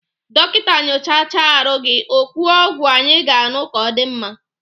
Dọkịta nyochacha arụ gị okwuo ọgwụ anyị ga-aṅụ ka ọ dị mma